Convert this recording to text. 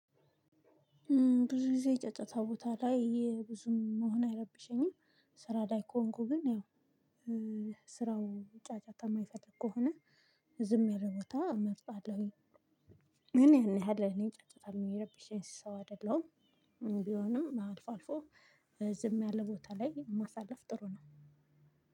ብዙ ጊዜ ጫጫታ ቦታ ላይ ብዙም መሆን አይረብሸኝም። ስራ ላይ ከሆንኩ ግን ያው ስራው ጫጫታ የማይፈልግ ከሆነ ዝም ያለ ቦታ መርጣለሁኝ። ግን ያን ያህል እኔ ጫጫታ ምረብሸኝ ሰው አይደለሁም። ቢሆንም አልፎ አልፎ ዝም ያለ ቦታ ላይ ማሳለፍ ጥሩ ነው።